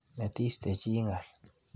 Metiste chi ng'al.